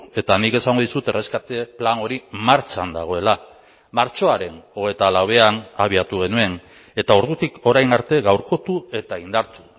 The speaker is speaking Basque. eta nik esango dizut erreskate plan hori martxan dagoela martxoaren hogeita lauean abiatu genuen eta ordutik orain arte gaurkotu eta indartu